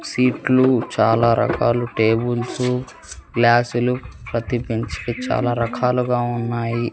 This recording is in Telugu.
సీట్లు చాలా రకాలు టేబుల్సు గ్లాస్సులు ప్రతి బెంచ్కి చాలా రకాలుగా ఉన్నాయి.